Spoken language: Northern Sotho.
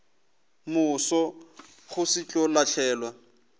moso go se tlo lahlelwa